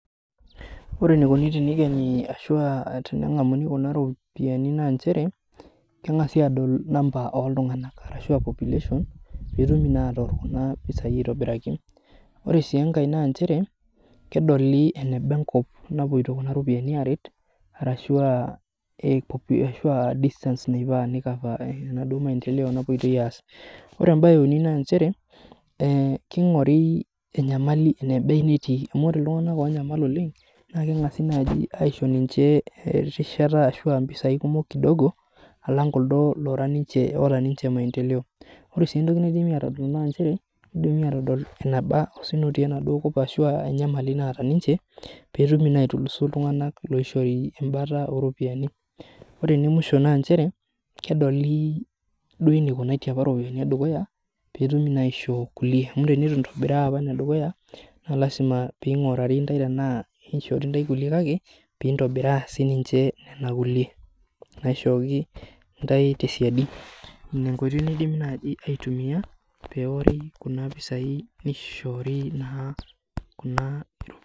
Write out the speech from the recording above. Wore enikuni tenikeni ashu aa tenengamuni kuna ropiyiani naa nchere, kengasi aadol namba oltunganak ashu a population, peetumi naa aatorr kuna pisai aitobiraki. Wore sii enkae naa nchere, kedoli eneba enkop napoito kuna ropiyiani aaret arashu a distance neifaa ni cover arashu enaduo maendeleo napoitoi aas. Wore embae euni naa nchere, kingori enyamali enaba nitii amu wore iltunganak oonyamal oleng' naa kengasi naaji aisho ninche erishata ashu aa impisai kumok kidogo alang kuldo laara ninche oata ninche maendeleo. Wore sii entoki entoki naidimi aatodol naa nchere, kidimi aatodol enaba osina otii enaduo kop arashu eneba enyamali naata ninche, peetumi naa aitulusu iltunganak loishori embata ooropiyiani. Wore ene musho naa nchere, kedoli duo enikunatie apa iropiyani edukuya, peetumi naa aisho kulie, amu tenitou intobiraa apa inedukuya, naa lasima pee ingurari intae tenaa, keishori intae kulie kake, pee intobiraa sininche niana kulie naishooki intae tesiadi. Inia enkoitoi naidimi naaji aitumia, peewori kuna pisai nishoori naa kuna